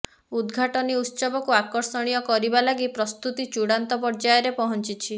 ଉଦ୍ଘାଟନୀ ଉତ୍ସବକୁ ଆକର୍ଷଣୀୟ କରିବା ଲାଗି ପ୍ରସ୍ତୁତି ଚୂଡ଼ାନ୍ତ ପର୍ଯ୍ୟାୟରେ ପହଞ୍ଚିଛି